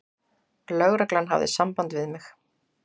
Lögreglan hafði samband við mig.